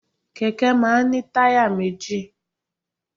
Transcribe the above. Kẹ̀kẹ́ máa ń ní táyà méjì.